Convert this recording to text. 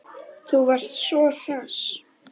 Þú varst svo hress.